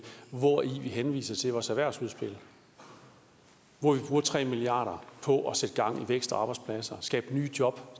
hvori vi henviser til vores erhvervsudspil hvor vi bruger tre milliard kroner på at sætte gang i vækst og arbejdspladser skabe nye job